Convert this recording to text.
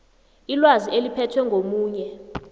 ilwazi eliphethwe ngomunye